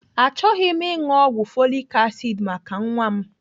Achọghị m ịṅụ ọgwụ folik asid maka nwa m.